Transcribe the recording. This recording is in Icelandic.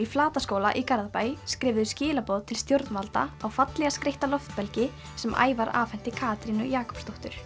Flataskóla í Garðabæ skrifuðu skilaboð til stjórnvalda á fallega skreytta sem Ævar afhenti Katrínu Jakobsdóttur